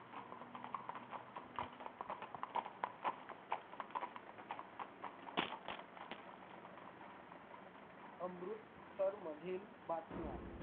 अमृतसर मधील बातम्या